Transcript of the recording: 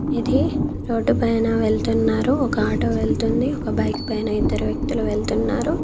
ఇది రోడ్డు పైన వెళ్తున్నారు ఒక ఆటో వెళ్తుంది ఒక బైక్ పైన ఇద్దరు వ్యక్తులు వెళ్తున్నారు.